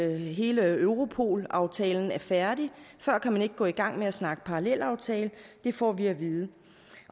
hele europol aftalen er færdig før kan man ikke gå i gang med at snakke parallelaftale det får vi at vide